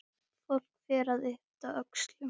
Fólk fer að yppta öxlum.